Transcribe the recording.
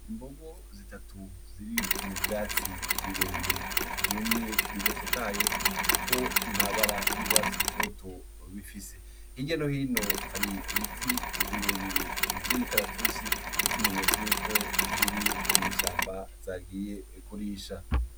Imbugu zitatu ziri mu vyatsi birebire vyumye biyatotaye, kuko ntabara y'urwatsi rutoto bifise igye nohino hari ibiti birebire vy'imikaratusi nk'ikimenyetso yuko ziri mw'ishamba zagiye kurisha.